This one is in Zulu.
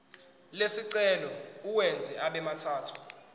lesicelo uwenze abemathathu